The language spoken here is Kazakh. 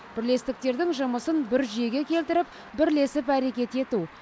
бірлестіктердің жұмысын бір жүйеге келтіріп бірлесіп әрекет ету